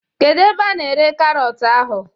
Kedu ebe a na-ere karọt ahụ?